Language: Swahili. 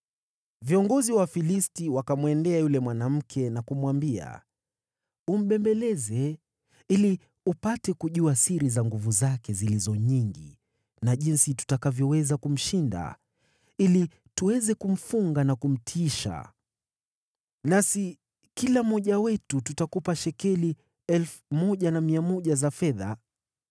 Viongozi wa Wafilisti wakamwendea yule mwanamke na kumwambia, “Umbembeleze ili upate kujua siri za nguvu zake zilizo nyingi na jinsi tutakavyoweza kumshinda ili tuweze kumfunga na kumtiisha. Nasi kila mmoja wetu tutakupa shekeli 1,100 za fedha.”